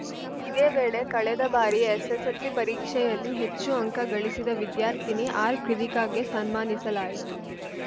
ಇದೇ ವೇಳೆ ಕಳೆದ ಬಾರಿ ಎಸ್‌ಎಸ್‌ಎಲ್‌ಸಿ ಪರೀಕ್ಷೆಯಲ್ಲಿ ಹೆಚ್ಚು ಅಂಕ ಗಳಿಸಿದ ವಿದ್ಯಾರ್ಥಿನಿ ಆರ್‌ಕೃವಿ ಕಾಗೆ ಸನ್ಮಾನಿಸಲಾಯಿತು